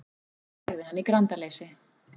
sagði hann í grandaleysi.